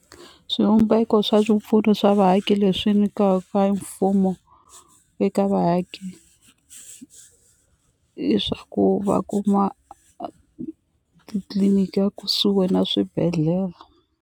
Swivumbeko swa swipfuno swa vaaki leswi nikiwaka hi mfumo eka vaaki i swa ku va kuma titliliniki a kusuhi na swibedhlele.